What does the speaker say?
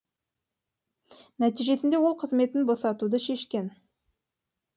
нәтижесінде ол қызметін босатуды шешкен